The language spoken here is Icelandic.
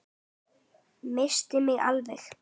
Missti mig alveg!